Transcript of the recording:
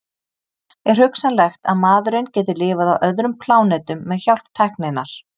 Er hugsanlegt að maðurinn geti lifað á öðrum plánetum með hjálp tækninnar?